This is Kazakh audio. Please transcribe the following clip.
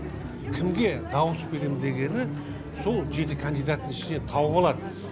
кімге дауыс берем дегені сол жеті кандидаттың ішінен тауып алады